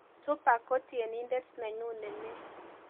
Tupac ko tienindet nenyu ne mee